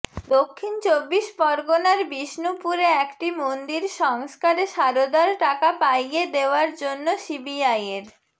দক্ষিণ চব্বিশ পরগনার বিষ্ণুপুরে একটি মন্দির সংস্কারে সারদার টাকা পাইয়ে দেওয়ার জন্য সিবিআইয়ের